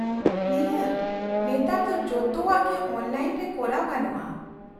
-ᱱᱤᱦᱟᱹᱛ! ᱱᱮᱛᱟᱨ ᱫᱚ ᱡᱚᱛᱚᱣᱟᱜ ᱜᱮ ᱚᱱᱞᱟᱭᱤᱱ ᱨᱮ ᱠᱚᱨᱟᱣ ᱜᱟᱱᱚᱜᱼᱟ ᱾